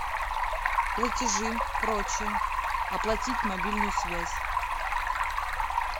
платежи прочие оплатить мобильную связь